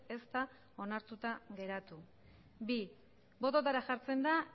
ez da onartuta geratu bi bototara jartzen da